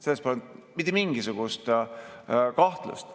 Selles pole mitte mingisugust kahtlust.